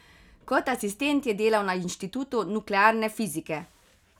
Kot asistent je delal na inštitutu nuklearne fizike.